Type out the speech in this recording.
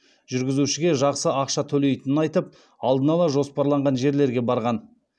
жүргізушіге жақсы ақша төлейтінін айтып алдын ала жоспарланған жерлерге барған